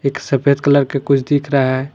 सफेद कलर का कुछ दिख रहा है।